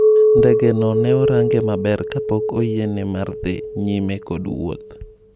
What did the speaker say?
Ndege no ne orange maber ka pok oyiene mar dhii nyime kod wuoth.